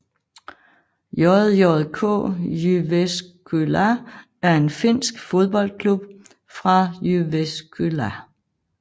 JJK Jyväskylä er en finsk fodboldklub fra Jyväskylä